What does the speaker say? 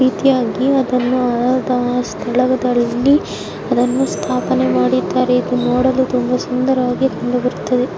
ಈ ರೀತಿಯಾಗಿ ಅದನ್ನು ಅದರ ಸ್ಥಳದಲ್ಲಿ ಅದನ್ನು ಸ್ಥಾಪನೇ ಮಾಡಿದ್ದಾರೆ ಇದನ್ನು ನೋಡಲು ತುಂಬ ಸುಂದರವಾಗಿ ಕಂಡುಬರುತ್ತದೆ.